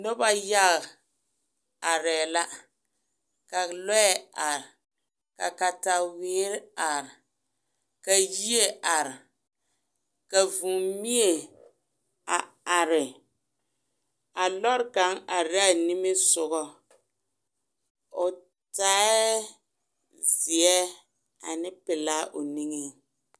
Noba yaga are la ka lɔɛ are ka katawere are ka yie are ka vūū mie a are a lɔrɔ kaŋ are la a nimi sɔŋɔ o taaɛ zeɛ ane pelaa o niŋeŋ.